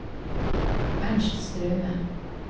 Ernst Straume